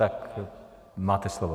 Tak máte slovo.